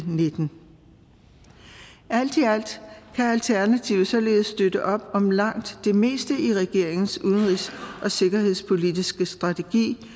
nitten alt i alt kan alternativet således støtte op om langt det meste af regeringens udenrigs og sikkerhedspolitiske strategi